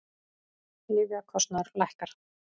Lyfjakostnaður lækkar